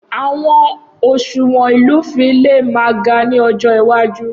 Awọn oṣuwọn ilufin le ma ga ni ọjọ iwaju.